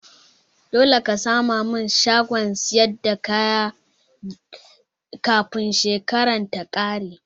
Dole ka sama min shagon siyar da kaya kafin shekaran ta kare